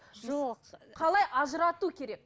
жоқ қалай ажырату керек